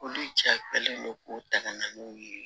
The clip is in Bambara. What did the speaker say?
Olu jaabilen don k'u ta ka na n'u ye